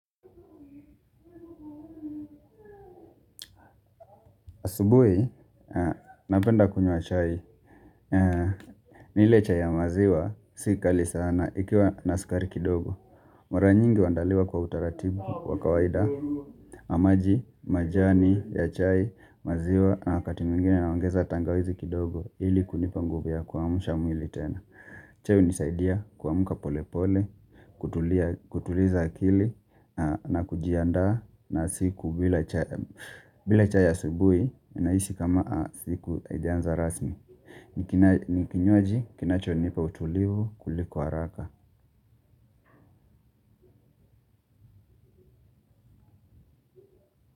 Asubui, napenda kunywa chai. Ni ile chai ya maziwa, si kali sana, ikiwa na skari kidogo. Mara nyingi uandaliwa kwa utaratibu, wa kawaida na maji, majani, ya chai, maziwa, na wakati mwingine naongeza tangawizi kidogo ili kunipa nguvu ya kuamusha mwili tena. Chai unisaidia kuamka polepole, kutuliza akili na kujiandaa na siku bila chai ya asubui naisi kama siku haijaanza rasmi ni kinywaji kinachonipa utulivu kuliko haraka.